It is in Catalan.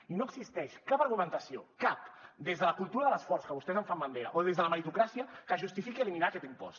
i no existeix cap argumentació cap des de la cultura de l’esforç que vostès en fan bandera o des de la meritocràcia que justifiqui eliminar aquest impost